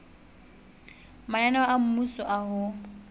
mananeo a mmuso a ho